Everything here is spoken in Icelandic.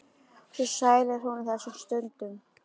Svo sæl er hún á þessum stundum.